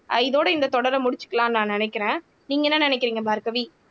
ஆஹ் இதோட இந்த தொடரை முடிச்சிக்கலாம்ன்னு நான் நினைக்கிறேன் நீங்க என்ன நினைக்கிறீங்க பார்கவி